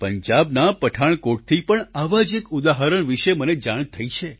પંજાબના પઠાણકોટથી પણ આવા જ એક ઉદાહરણ વિષે મને જાણ થઈ છે